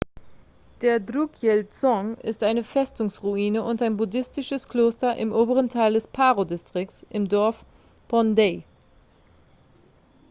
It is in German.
der drukyel-dzong ist eine festungsruine und ein buddhistisches kloster im oberen teil des paro-distrikts im dorf phondey